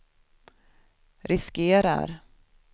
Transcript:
riskerar